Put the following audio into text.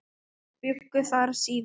Þeir bjuggu þar síðan.